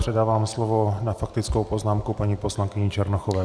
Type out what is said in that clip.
Předávám slovo na faktickou poznámku paní poslankyni Černochové.